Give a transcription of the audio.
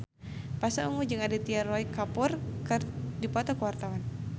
Pasha Ungu jeung Aditya Roy Kapoor keur dipoto ku wartawan